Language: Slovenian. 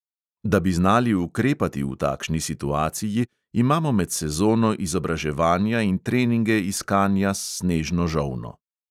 Da bi znali ukrepati v takšni situaciji, imamo med sezono izobraževanja in treninge iskanja s snežno žolno.